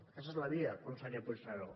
aquesta és la via conseller puigneró